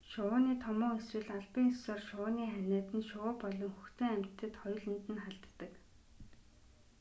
шувууны томуу эсвэл албан ёсоор шувууны ханиад нь шувуу болон хөхтөн амьтдад хоёуланд нь халддаг